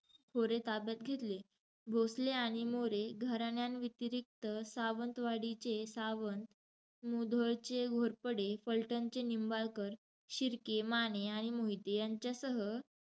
खोरे ताब्यात घेतले. भोसले आणि मोरे घराण्यांव्यतिरिक्त, सावंतवाडीचे सावंत, मुधोळचे घोरपडे, फलटणचे निंबाळकर, शिर्के, माने आणि मोहिते यांच्यासह,